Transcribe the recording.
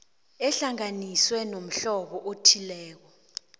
ehlanganiswe nomhlobo othileko